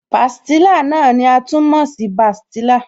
Pastilla náà ni a tún mọ̀ sí bastilla